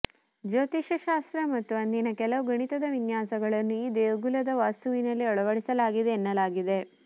ಜ್ಯೋೋತಿಷ್ಯ ಶಾಸ್ತ್ರ ಮತ್ತು ಅಂದಿನ ಕೆಲವು ಗಣಿತದ ವಿನ್ಯಾಾಸಗಳನ್ನು ಈ ದೇಗುಲದ ವಾಸ್ತುವಿನಲ್ಲಿ ಅಳವಡಿಸಲಾಗಿದೆ ಎನ್ನಲಾಗಿದೆ